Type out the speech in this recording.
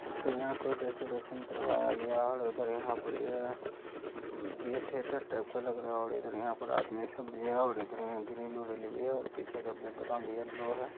देख सकते हैं यहां कोई डेकोरेशन करवाया गया और उधर वहां पर ये थिएटर टाइप का लग रहा है। और इधर यहाँ पर आदमी सब भी है और इधर यहाँ ग्रिल - उरिल भी है और पीछे का बैकग्राउंड येल्लो है ।